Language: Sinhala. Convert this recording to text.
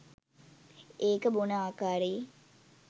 ඒක බොන ආකාරයේ